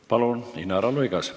Palun, Inara Luigas!